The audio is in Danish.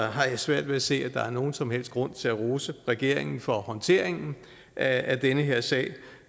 har svært ved at se at der er nogen som helst grund til at rose regeringen for håndteringen af den her sag